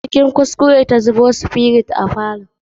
Cikin kuskure ta zubo spirit a falon.